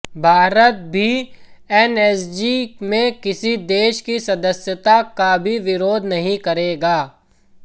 भारत भी एनएसजी में किसी देश की सदस्यता का भी विरोध नहीं करेगा